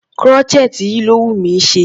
Crochet yìí ló wùnmí ṣe.